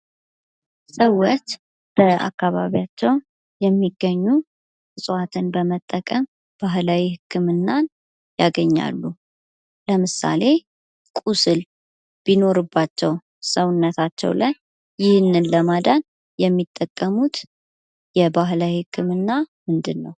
ሰዎች በአካባቢያቸው የሚገኙ ዕፅዋትን በመጠቀም ባህላዊ ህክምና ያገኛሉ። ለምሳሌ ቁስል ቢኖርባቸው ሰውነታቸው ላይ ይህንን ለማዳን የሚጠቀሙት የባህላዊ ህክምና ምንድን ነው?